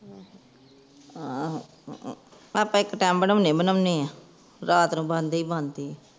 ਆਹੋ ਅਹ ਆਪਾਂ ਇਕ ਟਾਈਮ ਬਣਾਉਣੇ ਹੀ ਬਣਾਉਂਦੇ ਹਾਂ ਰਾਤ ਨੂੰ ਬੰਨ ਦੇ ਹੀ ਬੰਦੇ ਆ